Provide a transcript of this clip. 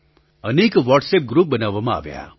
અનેક WhatsApp group બનાવવામાં આવ્યાં